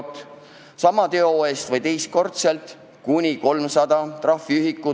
Sama teo eest, kui see on toime pandud vähemalt teist korda, tuleb maksta kuni 300 trahviühikut.